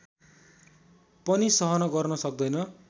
पनि सहन गर्न सक्दैन